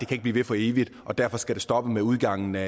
kan blive ved for evigt og derfor skal det stoppe med udgangen af